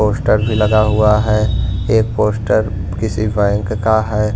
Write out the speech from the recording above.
Poster भी लगा हुआ है एक पोस्टर किसी बैंक का है।